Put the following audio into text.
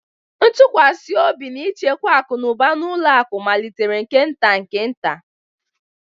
Ntụkwasị obi na ịchekwa akụ na ụba na ụlọ akụ malitere nke nta nke nta